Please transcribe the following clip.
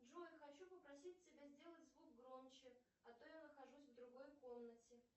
джой хочу попросить тебя сделать звук громче а то я нахожусь в другой комнате